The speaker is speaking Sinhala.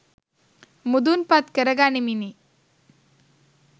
මුදුන්පත් කරගනිමිනි.